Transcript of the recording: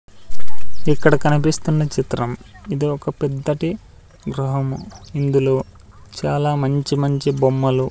ఇక్కడ కనిపిస్తున్న చిత్రం ఇది ఒక పెద్దటి గృహము ఇందులో చాలా మంచి మంచి బొమ్మలు --